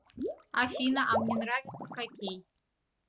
афина а мне нравится хоккей